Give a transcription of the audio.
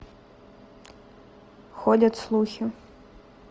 ходят слухи